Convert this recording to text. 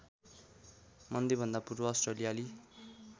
मन्दीभन्दा पूर्व अस्ट्रेलियाली